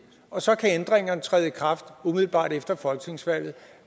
og så kan ændringerne træde i kraft umiddelbart efter folketingsvalget